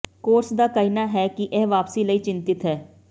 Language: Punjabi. ਕੋਰਸ ਦਾ ਕਹਿਣਾ ਹੈ ਕਿ ਇਹ ਵਾਪਸੀ ਲਈ ਚਿੰਤਤ ਹੈ